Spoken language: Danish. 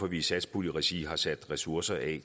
at vi i satspuljeregi har sat ressourcer af